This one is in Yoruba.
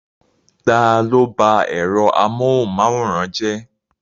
Ta ló bá ẹ̀rọ amóhunmáwòrán jẹ́?